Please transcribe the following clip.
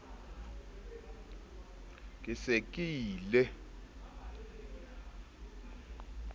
ke se ke ile ka